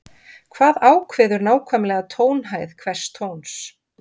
hvað ákveður nákvæmlega tónhæð hvers tóns